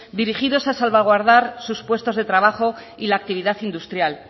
dirigidos a salvaguardar sus puestos de trabajo y la actividad industrial